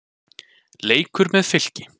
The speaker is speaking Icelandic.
Leikur með Fylki.